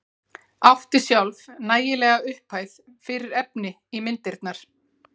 Átti sjálf nægilega upphæð fyrir efni í myndirnar.